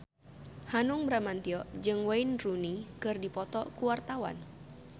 Hanung Bramantyo jeung Wayne Rooney keur dipoto ku wartawan